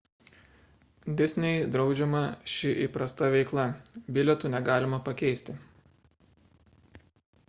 disney draudžiama ši įprasta veikla bilietų negalima pakeisti